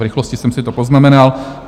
V rychlosti jsem si to poznamenal.